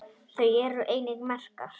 Þar eru einnig merkar